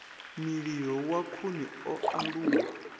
mililo wa khuni o aluwa